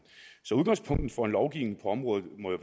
så udgangspunktet for en lovgivning på området må jo